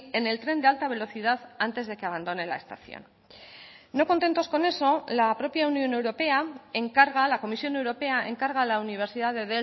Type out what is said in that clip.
en el tren de alta velocidad antes de que abandone la estación no contentos con eso la propia unión europea encarga la comisión europea encarga a la universidad de